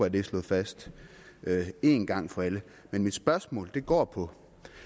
at det er slået fast en gang for alle men mit spørgsmål går på